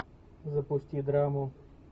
запусти драму